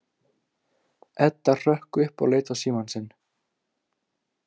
Edda hrökk upp og leit á símann sinn.